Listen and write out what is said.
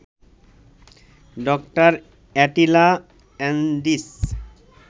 ড. Attila Andich